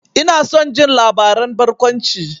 Ina son jin labaran barkwanci.